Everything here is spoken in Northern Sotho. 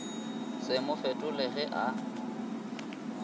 se mo fetole ge a